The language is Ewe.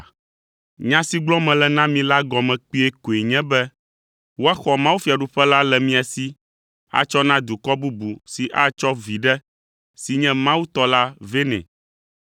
“Nya si gblɔm mele na mi la gɔme kpuie koe nye be woaxɔ mawufiaɖuƒe la le mia si atsɔ na dukɔ bubu si atsɔ viɖe si nye Mawu tɔ la vɛ nɛ.